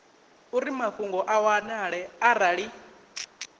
uri mafhungo a wanale arali